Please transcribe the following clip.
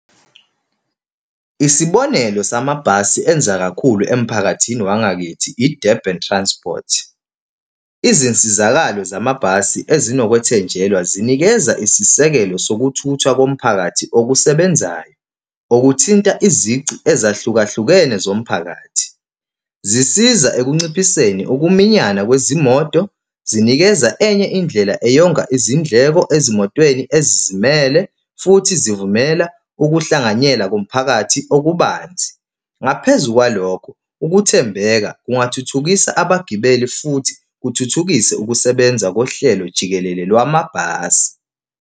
Isibonelo samabhasi enza kakhulu emphakathini wangakithi i-Durban Transport. Izinsizakalo zamabhasi ezinokwethenjelwa zinikeza isisekelo sokuthuthwa komphakathi okusebenzayo. Okuthinta izici ezahlukahlukene zomphakathi. Zisiza ekunciphiseni ukuminyana kwezimoto, zinikeza enye indlela eyonga izindleko ezimotweni ezizimele, futhi zivumela ukuhlanganyela komphakathi okubanzi. Ngaphezu kwalokho, ukuthembeka kungathuthukisa abagibeli futhi kuthuthukise ukusebenza kohlelo jikelele lwamabhasi.